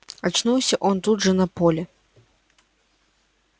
очнулся он тут же на поле